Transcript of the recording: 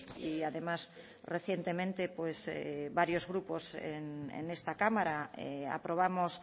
y además recientemente varios grupos en esta cámara aprobamos